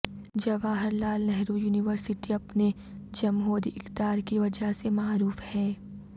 Jawahar Lal Nehru university اپنے جمہوری اقدار کی وجہ سے معروف ہے